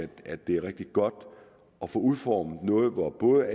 at det er rigtig godt at få udformet noget hvor både